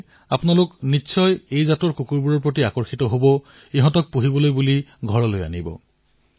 যদি আপোনালোকে কুকুৰ পুহিবলৈ বিচাৰিছে তেন্তে ভাৰতীয় জাতৰ কুকুৰেই আনিব